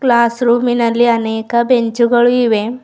Class ರೂಮಿನಲ್ಲಿ ಅನೇಕ bench ಗಳು ಇವೆ.